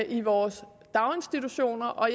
i vores daginstitutioner og